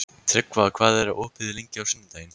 Tryggva, hvað er opið lengi á sunnudaginn?